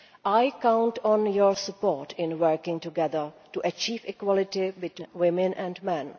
I count on your support in working together to achieve equality between women and